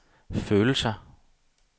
følelser